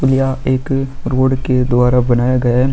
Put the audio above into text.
पुलिया एक रोड के द्वारा बनाया गया है।